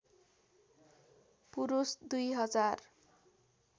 पुरुष २ हजार